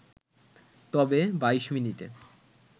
তবে ২২ মিনিটে